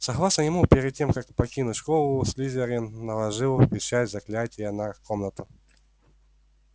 согласно ему перед тем как покинуть школу слизерин наложил печать заклятия на комнату